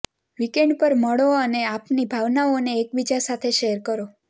weekend પર મળો અને આપની ભાવનાઓને એકબીજા સાથે શેર કરો